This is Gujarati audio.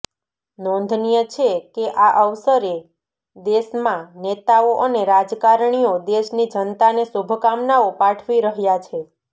નોંધનીય છે કે આ અવસરે દેશમાં નેતાઓ અને રાજકારણીઓ દેશની જનતાને શુભકામનાઓ પાઠવી રહ્યા છે